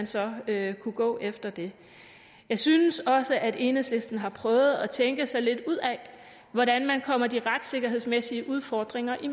så vil kunne gå efter det jeg synes også at enhedslisten har prøvet at tænke sig lidt ud af hvordan man kommer de retssikkerhedsmæssige udfordringer i